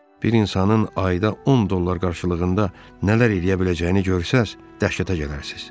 Bir insanın ayda 10 dollar qarşılığında nələr eləyə biləcəyini görsəniz dəhşətə gələrsiz.